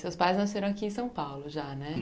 Seus pais nasceram aqui em São Paulo, já, né?